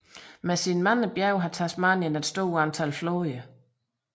Med sine mange bjerge har Tasmanien et stort antal floder